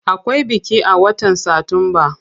Akwai biki a watan satumba.